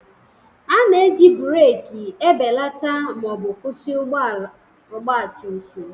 A na-eji breeki ebelata ma ọ bụ kwụsị ọgba tum tum